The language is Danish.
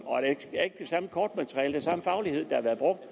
kortmateriale samme faglighed der har været brugt